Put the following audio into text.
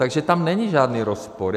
Takže tam není žádný rozpor.